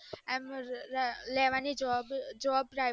એમ લેવાની job